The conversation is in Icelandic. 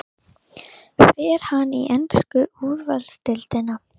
Hún var þukluð vandlega og síðan spurð þegar ekkert fannst.